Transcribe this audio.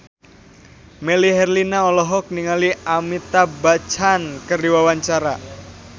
Melly Herlina olohok ningali Amitabh Bachchan keur diwawancara